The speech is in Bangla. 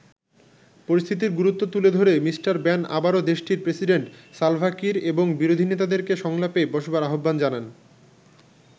পরিস্থিতির গুরুত্ব তুলে ধরে মিস্টার ব্যান আবারো দেশটির প্রেসিডেন্ট সালভা কির এবং বিরোধী নেতাদেরকে সংলাপে বসবার আহ্বান জানান।